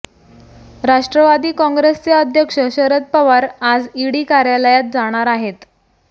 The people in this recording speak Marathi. राष्ट्रवादी काँग्रेसचे अध्यक्ष शरद पवार आज ईडी कार्यालयात जाणार आहेत